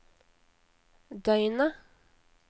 døgnet